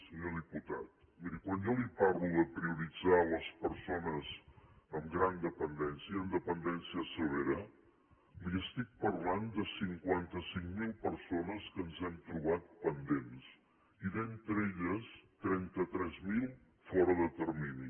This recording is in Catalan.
senyor diputat miri quan jo li parlo de prioritzar les persones amb gran dependència amb dependència severa li estic parlant de cinquanta cinc mil persones que ens hem trobat pendents i entre elles trenta tres mil fora de termini